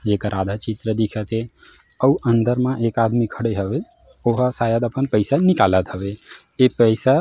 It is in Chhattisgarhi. जेकर आधा चित्र दिखत हे अउ अंदर म एक आदमी खड़े हवे ओ हा शायद अपन पईसा ल निकलात हवे ए पईसा--